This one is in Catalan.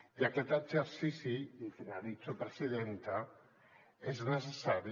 i aquest exercici i finalitzo presidenta és necessari